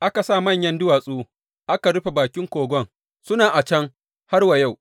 Aka sa manyan duwatsu aka rufe bakin kogon, suna a can har wa yau.